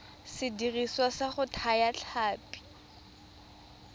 sediriswa sa go thaya ditlhapi